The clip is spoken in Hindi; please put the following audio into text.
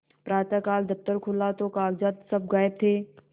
प्रातःकाल दफ्तर खुला तो कागजात सब गायब थे